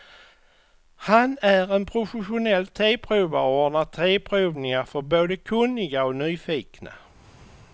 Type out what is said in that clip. Han är en professionell teprovare och ordnar teprovningar för både kunniga och nyfikna.